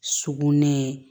Sugunɛ